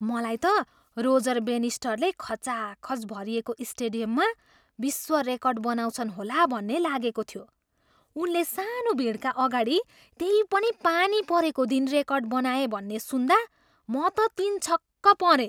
मलाई त रोजर बेनिस्टरले खचाखच भरिएको स्टेडियममा विश्व रेकर्ड बनाउँछन् होला भन्ने लागेको थियो। उनले सानो भिडका अगाडि, त्यै पनि पानी परेको दिन रेकर्ड बनाए भन्ने सुन्दा म त तिनछक्क परेँ।